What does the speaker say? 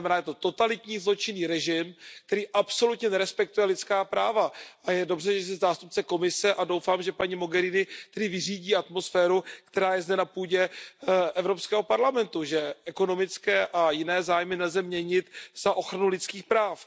Je to totalitní zločinný režim, který absolutně nerespektuje lidská práva, a je dobře, že je zde zástupce Komise, a doufám, že paní Mogheriniové vyřídí atmosféru, která je zde na půdě Evropského parlamentu, a že ekonomické a jiné zájmy nelze měnit za ochranu lidských práv.